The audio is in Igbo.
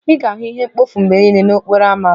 Ị ga-ahụ ihe mkpofu mgbe niile n'okporo ámá m